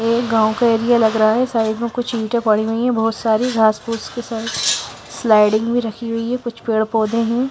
यह गाँव का एरिया लग रहा है साइड में कुछ ईंटें पड़ी हुई है बहुत सारी घास फूस के साथ स्लाइडिंग भी रखी हुई है कुछ पेड़-पौधे हैं।